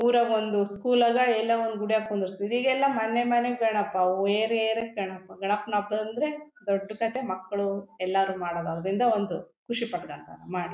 ಊರಾಗೊಂಡು school ಆಗ ಎಲ್ಲೋ ಒಂದು ಗುಡಿಯಾಗ ಕೂರಿಸ್ತಾಇದ್ರೂ ಈಗೆಲ್ಲ ಮನೆ ಮನೆ ಗಣಪ ಓ ಏರಿಯಾ ಏರಿಯಾ ಗಣಪ ಗಣಪನ ಹಬ್ಬ ಅಂದ್ರೆ ದೊಡ್ಡ್ ಕಥೆ ಮಕ್ಕಳು ಎಲ್ಲರು ಮಾಡೋದು ಅದರಿಂದ ಒಂದು ಖುಷಿ ಪಟ್ಕೊಂಡ್ತಾರೆ ಮಾಡಿ.